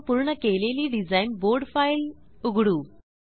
आपण पूर्ण केलेली डिझाईन बोर्ड फाइल उघडू